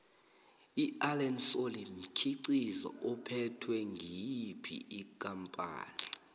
iallen solly mkhiqizo uphethwe ngiyophi ikampani